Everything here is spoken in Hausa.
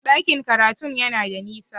Ɗakin karatun yana da nisa